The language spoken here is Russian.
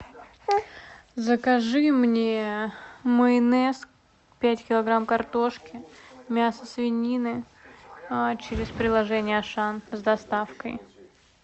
закажи мне майонез пять килограмм картошки мясо свинины через приложение ашан с доставкой